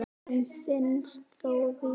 Hann finnst þó víðar.